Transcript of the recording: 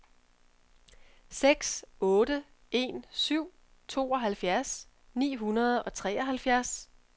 seks otte en syv tooghalvfjerds ni hundrede og treoghalvfjerds